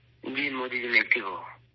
ہاں مودی جی، میں ایکٹیو ہوں